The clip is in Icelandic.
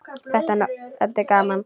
Þetta er gaman.